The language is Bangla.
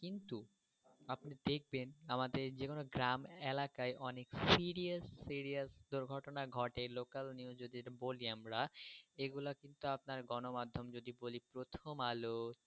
দেখবেন আমাদের যেকোনও গ্রাম এলাকায় অনেক serious serious দুর্ঘটনা ঘটে local news যদি বলি আমরা এগুলো কিন্তু আপনার গণ মাধ্যম যদি বলি প্রথম আলো।